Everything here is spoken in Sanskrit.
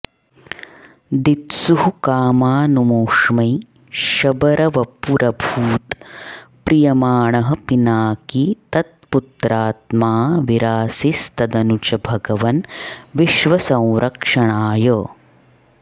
दित्सुः कामानमुष्मै शबरवपुरभूत् प्रीयमाणः पिनाकी तत्पुत्रात्माऽविरासीस्तदनु च भगवन् विश्वसंरक्षणाय